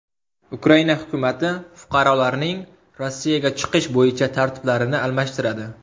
Ukraina hukumati fuqarolarning Rossiyaga chiqish bo‘yicha tartiblarini almashtiradi.